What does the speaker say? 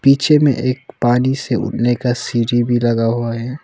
पीछे में एक पानी से उड़ने का सीढ़ी भी लगा हुआ है।